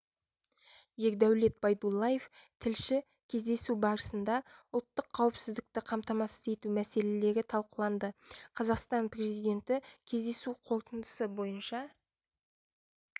ердәулет байдуллаев тілші кездесу барысында ұлттық қауіпсіздікті қамтамасыз ету мәселелері талқыланды қазақстан президенті кездесу қорытындысы бойынша